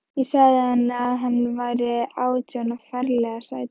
Ég sagði henni að hann væri átján og ferlega sætur.